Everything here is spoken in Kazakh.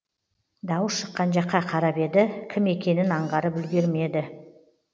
дауыс шыққан жаққа қарап еді кім екенін аңғарып үлгермеді